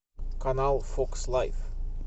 канал фокс лайф